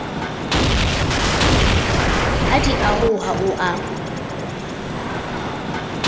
ha di oroha o a